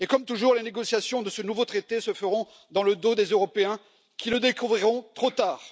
Et comme toujours les négociations sur ce nouveau traité seront menées dans le dos des Européens, qui le découvriront trop tard.